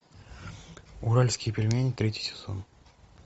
уральские пельмени третий сезон